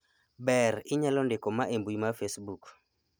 ber inyalo ndiko ma e mbui mar facebook